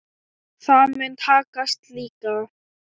Það mun takast líka.